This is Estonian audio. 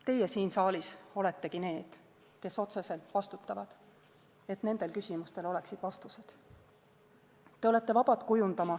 Teie siin saalis oletegi need, kes otseselt vastutavad, et nendel küsimustel oleksid vastused.